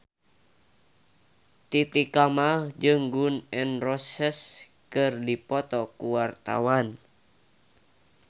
Titi Kamal jeung Gun N Roses keur dipoto ku wartawan